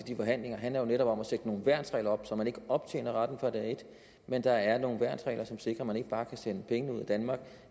de forhandlinger handler jo netop om at sætte nogle værnsregler op så man ikke optjener retten fra dag et men at der er nogle værnsregler som sikrer at man ikke bare kan sende pengene ud af danmark